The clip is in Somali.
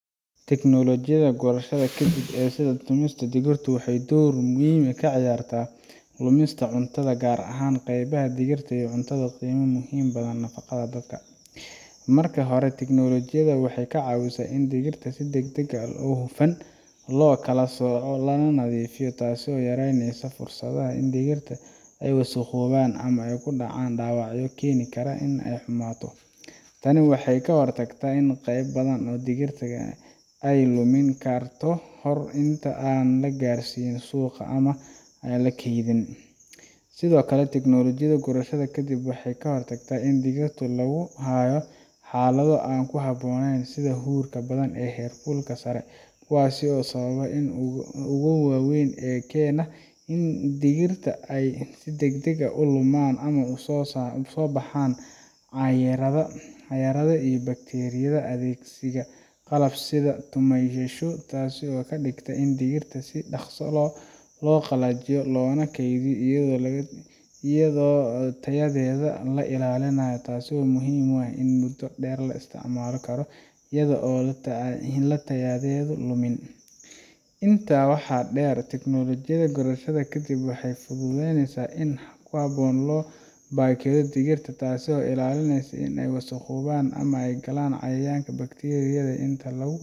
Tiknolojiyada gurashada kadib ee sida tan tumaysa digirta waxay door muhiim ah ka ciyaartaa yaraynta lumista cuntada, gaar ahaan qaybta digirta oo ah cunto qiimo leh oo muhiim u ah nafaqada dadka. Marka hore, tiknolojiyadani waxay ka caawisaa in digirta si degdeg ah oo hufan loo kala sooco lana nadiifiyo, taasoo yaraynaysa fursadaha in digirta ay wasakhoobaan ama ay ku dhacaan dhaawacyo keeni kara inay xumaato. Tani waxay ka hortagtaa in qayb badan oo digirta ah ay lumaan ka hor inta aan la gaarsiin suuqa ama la keydin. Sidoo kale, tiknolojiyada gurashada kadib waxay ka hortagtaa in digirta lagu hayo xaalado aan ku habboonayn sida huurka badan ama heerkulka sare, kuwaas oo ah sababaha ugu waaweyn ee keena in digirta ay si degdeg ah u lumaan ama u soo baxaan caaryada iyo bakteeriyada. Adeegsiga qalabka sida tumayaashu waxay ka dhigtaa in digirta si dhakhso ah loo qalajiyo loona kaydiyo iyadoo tayadeeda la ilaalinayo, taas oo muhiim u ah in muddo dheer la isticmaali karo iyada oo aan tayadeedu lumin. Intaa waxaa dheer, tiknolojiyada gurashada kadib waxay fududeysaa in si habboon loo baakadeeyo digirta, taasoo ka ilaalinaysa in ay wasakhoobaan ama ay galaan cayayaanka iyo bakteeriyada inta lagu